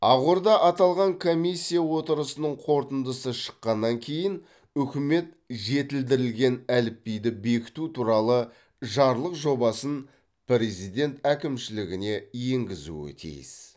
ақорда аталған комиссия отырысының қорытындысы шыққаннан кейін үкімет жетілдірілген әліпбиді бекіту туралы жарлық жобасын президент әкімшілігіне енгізуі тиіс